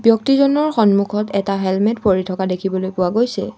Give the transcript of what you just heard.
ব্যক্তিজনৰ সন্মুখত এটা হেলমেট পৰি থকা দেখিবলৈ পোৱা গৈছে।